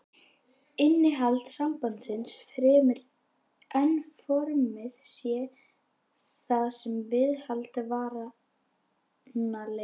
Innihald sambandsins, fremur en formið sé það sem viðhaldi varanleikanum.